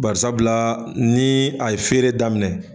Barisabila ni a ye feere daminɛ.